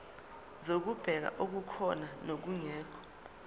zokubheka okukhona nokungekho